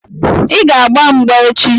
Ị ga-agba mgba echi!